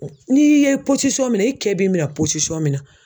N'i ye pɔsisɔn min na i cɛ b'i minɛn posisɔn min na.